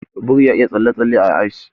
Biri ya iya tsalle-tsalle a ice.